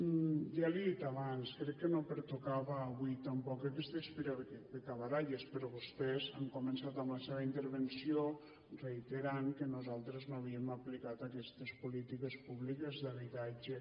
ja li ho he dit abans crec que no pertocaven avui tampoc aquestes picabaralles però vostès han començat en la seva intervenció reiterant que nosaltres no havíem aplicat aquestes polítiques públiques d’habitatge